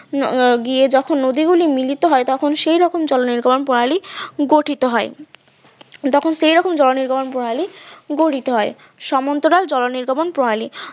গিয়ে যখন নদীগুলি মিলিত হয় তখন সেই রকম জল নির্গমন প্রণালী গঠিত হয় তখন সেই রকম জলনির্গমন প্রণালী গঠিত হয় সমান্তরাল জল নির্গমন প্রণালী